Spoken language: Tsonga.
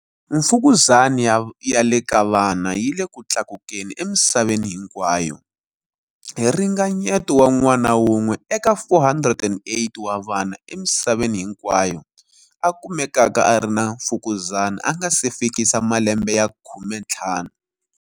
Mfukuzani ya le ka vana yi le ku tlakukeni emisaveni hinkwayo, hi ringanyeto wa n'wana wun'we eka 408 wa vana emisaveni hinkwayo a kumekaka a ri na mfukuzani a nga si fikisa malembe ya 15.